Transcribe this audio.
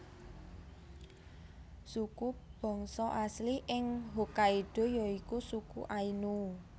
Suku bangsa asli ing Hokkaido ya iku suku Ainu